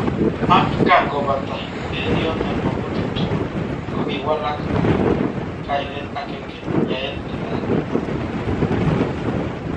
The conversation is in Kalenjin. Ak kangobata eng yoton mogutik tugul kokiwalak koik kainet agenge:yaet netai.